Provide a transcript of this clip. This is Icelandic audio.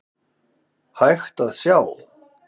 hægt að sjá.